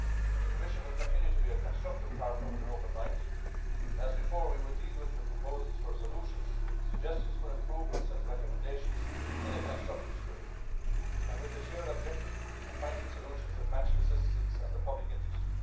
The Commission will continue to be a constructive partner with an open mind and, as before, we will deal with your proposals for solutions, suggestions for improvements and recommendations in a constructive spirit and with the shared objective of finding solutions that match the citizens' and the public interest.